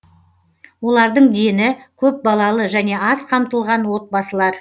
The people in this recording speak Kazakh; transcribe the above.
олардың дені көп балалы және аз қамтылған отбасылар